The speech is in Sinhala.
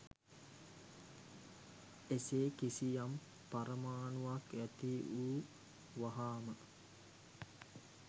එසේ කිසියම් පරමාණුවක් ඇති වූ වහාම